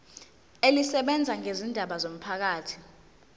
elisebenza ngezindaba zomphakathi